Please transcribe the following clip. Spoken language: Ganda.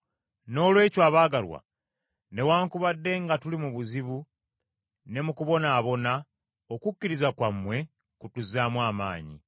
Noolwekyo abaagalwa, newaakubadde nga tuli mu buzibu ne mu kubonaabona, okukkiriza kwammwe kutuzaamu amaanyi.